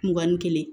Mugan ni kelen